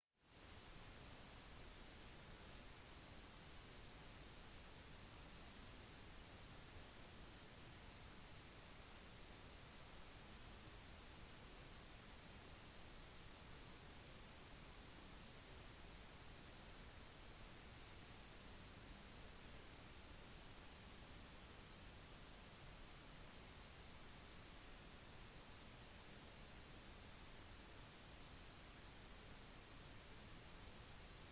paralympics vil være fra 24.08.2021 til 05.09.2021. noen arrangementer vil holdes andre steder rundt i hele japan